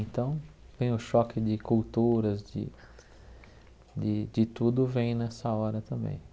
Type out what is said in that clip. Então, vem o choque de culturas, de de de tudo vem nessa hora também.